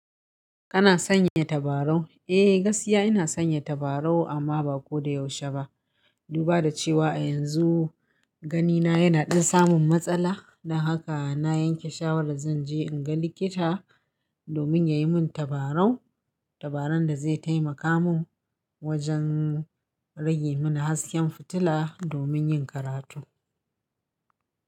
Kana san yi tabarau? Eh, gaskiya ina san yi tabarau amma ba ko da yaushe ba. Duba da cewa a yanzu gani na yana ɗin samun matsala. Don haka na yanke shawarar zan je in ga likita domin ya yi mun tabarau. Tabaran da zai taimaka mun wajen rage mani hasken fitila domin yin karatu.